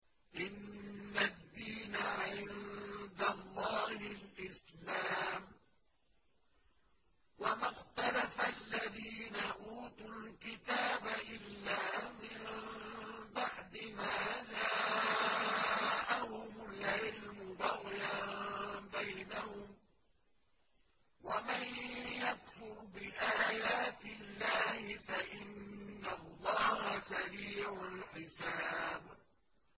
إِنَّ الدِّينَ عِندَ اللَّهِ الْإِسْلَامُ ۗ وَمَا اخْتَلَفَ الَّذِينَ أُوتُوا الْكِتَابَ إِلَّا مِن بَعْدِ مَا جَاءَهُمُ الْعِلْمُ بَغْيًا بَيْنَهُمْ ۗ وَمَن يَكْفُرْ بِآيَاتِ اللَّهِ فَإِنَّ اللَّهَ سَرِيعُ الْحِسَابِ